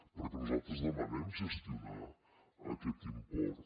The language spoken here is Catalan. perquè nosaltres demanem gestionar aquest import